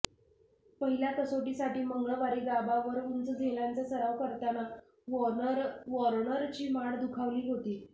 पहिल्या कसोटीसाठी मंगळवारी गाबावर उंच झेलांचा सराव करताना वॉर्नरची मान दुखावली होती